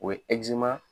O ye